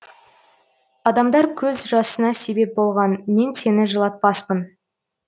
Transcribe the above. адамдар көз жасыңа себеп болған мен сені жылатпаспын